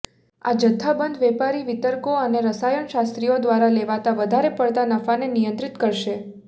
આ જથ્થાબંધ વેપારી વિતરકો અને રસાયણશાસ્ત્રીઓ દ્વારા લેવાતા વધારે પડતા નફાને નિયંત્રિત કરશે